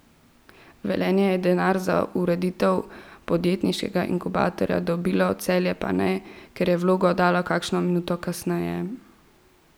Velenje je denar za ureditev podjetniškega inkubatorja dobilo, Celje pa ne, ker je vlogo oddalo kakšno minuto kasneje.